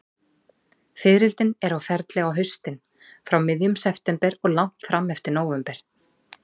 Fiðrildin eru á ferli á haustin, frá miðjum september og langt fram eftir nóvember.